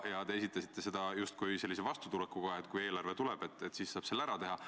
Te justkui ütlesite, et kui eelarve tuleb, siis saab selle ära teha.